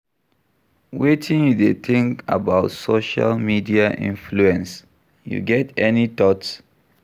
Wetin you dey think about social media influence, you get any thoughts?